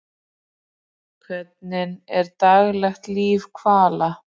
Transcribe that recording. Hvernig er daglegt líf hvala?